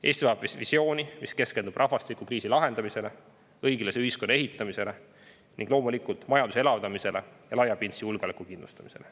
Eesti vajab visiooni, mis keskendub rahvastikukriisi lahendamisele, õiglase ühiskonna ehitamisele ning loomulikult majanduse elavdamisele ja laiapindse julgeoleku kindlustamisele.